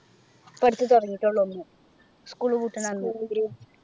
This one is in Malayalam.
ഇപ്പൊ അടുത്ത് തുടങ്ങീട്ടെ ഉള്ളു ഒന്ന് school പൂട്ടുന്ന അന്ന്